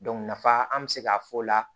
nafa an bɛ se k'a fɔ o la